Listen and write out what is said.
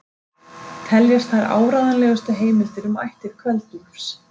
Teljast þær áreiðanlegustu heimildir um ættir Kveld-Úlfs.